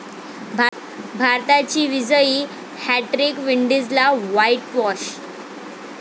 भारताची विजयी हॅटट्रिक, विंडीजला व्हाईटव्हाॅश